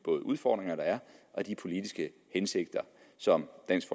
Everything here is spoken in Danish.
udfordringer der er og af de politiske hensigter som dansk